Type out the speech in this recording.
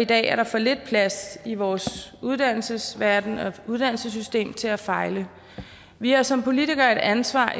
i dag er der for lidt plads i vores uddannelsesverdenen og uddannelsessystem til at fejle vi har som politikere et ansvar